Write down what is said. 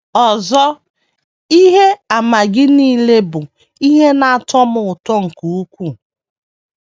Ọzọ, ihe àmà Gị nile bụ ihe na - atọ m ụtọ nke ukwuu...